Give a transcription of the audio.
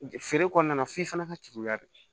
Feere kɔnɔna na f'i fana ka juru la de